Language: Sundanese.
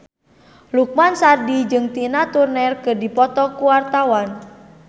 Lukman Sardi jeung Tina Turner keur dipoto ku wartawan